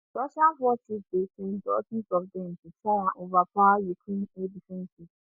russian forces dey send dozens of dem to try and overpower ukraine air defences